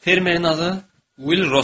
Fermerin adı Will Ross idi.